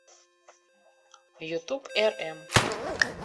ютуб эрэм